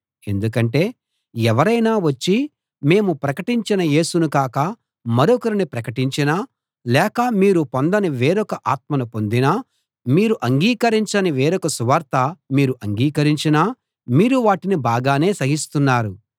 ఎందుకంటే ఎవరైనా వచ్చి మేము ప్రకటించిన యేసును కాక మరొకరిని ప్రకటించినా లేక మీరు పొందని వేరొక ఆత్మను పొందినా మీరు అంగీకరించని వేరొక సువార్త మీరు అంగీకరించినా మీరు వాటిని బాగానే సహిస్తున్నారు